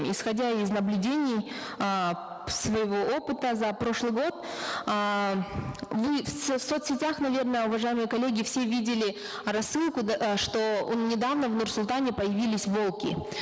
исходя из наблюдений э своего опыта за прошлый год эээ вы в соцсетях наверно уважаемые коллеги все видели рассылку да э что недавно в нур султане появились волки